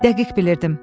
Dəqiq bilirdim.